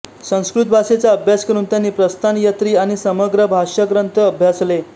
संस्कृत भाषेचा अभ्यास करून त्यांनी प्रस्थानत्रयी आणि समग्र भाष्यग्रंथ अभ्यासले